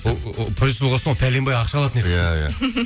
продюсер болған соң ол пәленбай ақша алатын еді иә иә